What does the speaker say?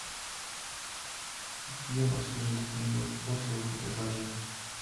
где у вас лежит книга отзывов и предложений